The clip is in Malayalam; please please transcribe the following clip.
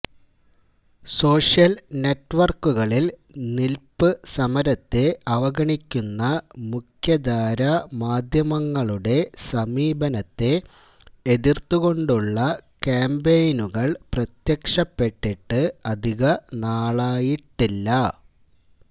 സോഷ്യല് നെറ്റ്വര്ക്കുകളില് നില്പ്പ് സമരത്തെ അവഗണിക്കുന്ന മുഖ്യധാര മാധ്യമങ്ങളുടെ സമീപനത്തെ എതിര്ത്തുകൊണ്ടുള്ള കാമ്പയിനുകള് പ്രത്യക്ഷപ്പെട്ടിട്ട് അധിക നാളായിട്ടില്ല